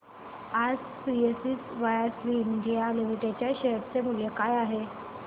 आज precision wires India limited च्या share चे मूल्य काय आहे